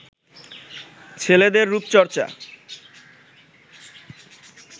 ছেলেদের রুপচর্চা